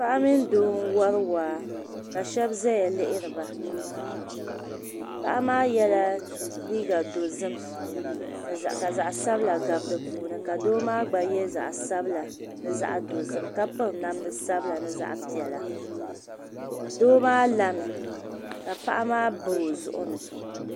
Paɣa mini doo n wari waa ka shɛba zaya lihira paɣa maa yɛla liiga dɔzim ka zaɣi sabila gabi di puuni ka doo maa gba yɛ zaɣi sabila ni zaɣi dɔzim ka piri namda sabila ni zaɣi piɛlla doo maa lami ka paɣa maa ba o zuɣuni.